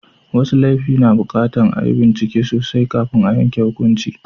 Wasu laifi na buƙatar a yi bincike sosai kafin a yanke hukunci.